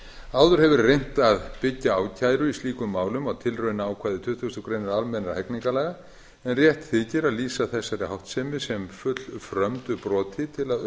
áður hefur verið reynt að byggja ákæru í slíkum málum á tilraunaákvæði tuttugustu greinar almennra hegningarlaga en rétt þykir að lýsa þessari háttsemi sem fullfrömdu broti til að